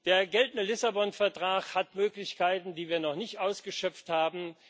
Der geltende Lissabon Vertrag hat Möglichkeiten, die wir noch nicht ausgeschöpft haben.